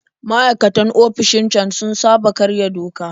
Maikatan ofishin can sun saba karya doka